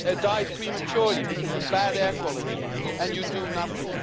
die prematurely because of bad air quality and you do nothing?